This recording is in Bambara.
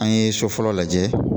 An ye so fɔlɔ lajɛ